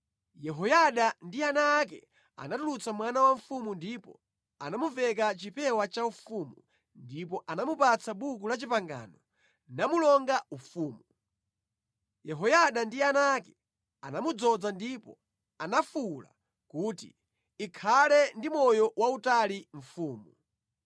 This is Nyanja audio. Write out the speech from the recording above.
Yehoyada ndi ana ake anatulutsa mwana wa mfumu ndipo anamumveka chipewa chaufumu ndipo anamupatsa Buku la Chipangano namulonga ufumu. Yehoyada ndi ana ake anamudzoza ndipo anafuwula kuti, “Ikhale ndi moyo wautali mfumu!”